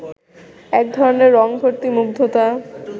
এক ধরনের রংভর্তি মুগ্ধতা